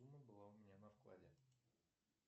сумма была у меня на вклале